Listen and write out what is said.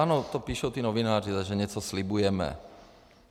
Ano, to píšou ti novináři, že něco slibujeme.